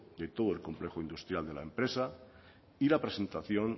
de todo el complejo industrial de la empresa y la presentación